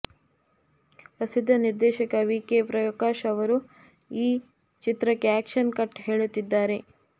ಪ್ರಸಿದ್ಧ ನಿರ್ದೇಶಕ V K Prakash ಅವರು ಈ ಚಿತ್ರಕ್ಕೆ ಆ್ಯಕ್ಷನ್ ಕಟ್ ಹೇಳುತ್ತಿದ್ದಾರೆ